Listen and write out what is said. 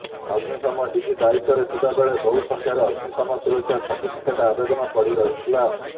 ଅଗ୍ନିଶମ ଡିଜି ଦାୟିତ୍ୱରେ ଥିବାବେଳେ ବହୁ ସଂଖ୍ୟାରେ ଅଗ୍ନିଶମ ସୁରକ୍ଷା ସାର୍ଟିଫିକେଟ୍ ଆବେଦନ ପଡ଼ି ରହିଥିଲା